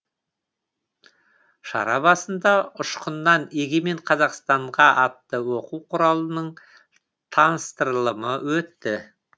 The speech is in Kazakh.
шара барысында ұшқыннан егемен қазақстанға атты оқу құралының таныстырылымы өтті